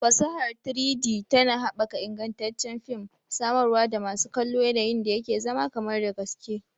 Fasahar 3-D tana haɓaka ingantaccen fim, samarwa da masu kallo yanayin da yake zama kamar da gaske